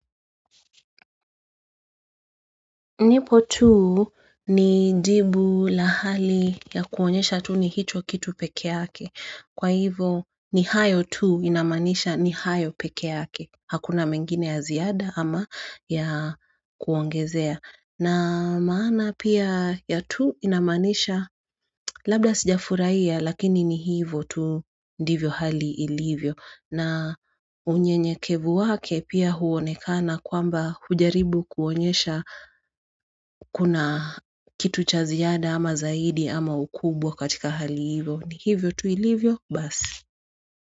Nipo tuu, ni jibu la hali ya kuonyesha tu ni hicho kitu peke yake. Kwa hivo ni hayo tu inamaanisha ni hayo peke yake. Hakuna mengine ya ziada ama ya kuongezea. Na maana pia ya tu inamaanisha labda sijafurahia lakini ni hivo tu ndivyo hali ilivyo na unyenyekevu wake pia huonekana kwamba hujaribu kuonyesha kuna kitu cha ziada ama zaidi ama ukubwa katika hali hivo, ni hivyo tu ilivyo basi.